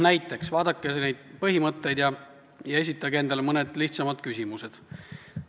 Näiteks vaadake neid põhimõtteid ja esitage endale mõned lihtsad küsimused.